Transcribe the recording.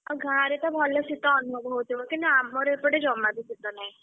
ଆଉ ଗାଁରେ ତଭଲ ଶୀତ ଅନୁଭବ ହଉଥିବ କିନ୍ତୁ ଆମର ଏପଟେ ଜମାବି ଶୀତ ନାହିଁ।